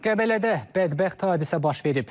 Qəbələdə bədbəxt hadisə baş verib.